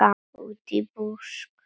Útí busk.